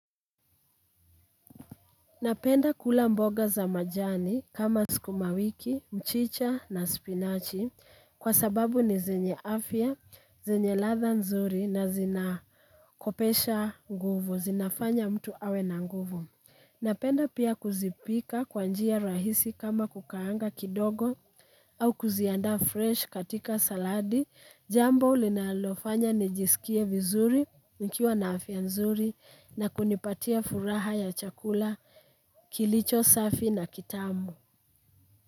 Napenda kula mboga za majani kama sukuma wiki, mchicha na spinachi kwa sababu ni zenye afya, zenye ladha nzuri na zinakopesha nguvu, zinafanya mtu awe na nguvu. Napenda pia kuzipika kwa njia rahisi kama kukaanga kidogo au kuzianda fresh katika saladi, jambo linalofanya nijisikie vizuri nikiwa na afya nzuri na kunipatia furaha ya chakula. Kilicho safi na kitamu.